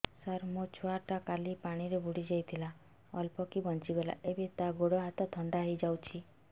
ସାର ମୋ ଛୁଆ ଟା କାଲି ପାଣି ରେ ବୁଡି ଯାଇଥିଲା ଅଳ୍ପ କି ବଞ୍ଚି ଗଲା ଏବେ ତା ଗୋଡ଼ ହାତ ଥଣ୍ଡା ହେଇଯାଉଛି